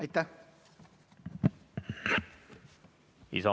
Aitäh!